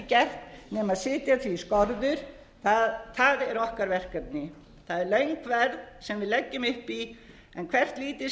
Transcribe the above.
gert nema setja því skorður það er okkar verkefni það er löng ferð sem við leggjum upp í en hvert lítið